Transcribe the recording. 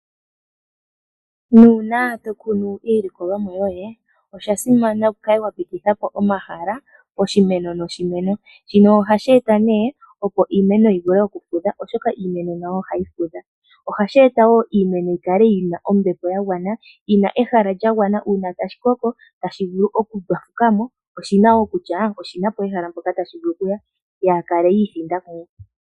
Uuna to kunu iilikolomwa yoye osha simana okukala wa pititha po omahala poshimeno noshimeno. Shika ohashi eta iimeno opo yi vule okufudha, oshoka iimeno nayo ohayi fudha. Ohashi eta wo iimeno yi kale yi na ombepo gwana, yi na ehala lya gwana uuna tashi koko tashi vulu okundwafuka mo oshi na ehala mpoka tashi vulu okuya yaa kale yi ithinda mumwe.